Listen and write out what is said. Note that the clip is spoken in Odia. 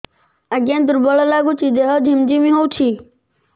ଆଜ୍ଞା ଦୁର୍ବଳ ଲାଗୁଚି ଦେହ ଝିମଝିମ ହଉଛି